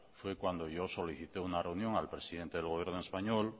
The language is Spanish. fue cuando yo solicité una reunión al presidente del gobierno español